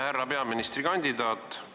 Härra peaministrikandidaat!